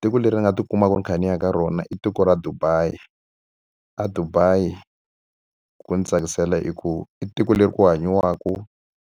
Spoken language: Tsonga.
Tiko leri ri nga tikumaka ni kha ni ya ka rona i tiko ra Dubai. EDubai ku ndzi tsakisela hikuva i tiko leri ku hanyiwaka